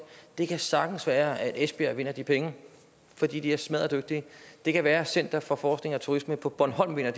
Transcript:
det kan sagtens være at esbjerg vinder de penge for de er smadderdygtige og det kan være at center for forskning i turisme på bornholm vinder